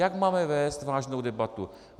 Jak máme vést vážnou debatu?